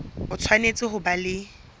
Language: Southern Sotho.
o tshwanetse ho ba le